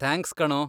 Thanks ಕಣೋ.